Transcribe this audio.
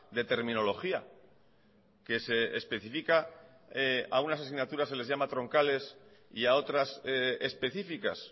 de terminología que se especifica a unas asignaturas se les llama troncales y a otras específicas